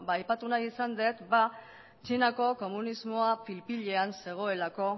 aipatu nahi izan dut txinako komunismoa pil pilean zegoelako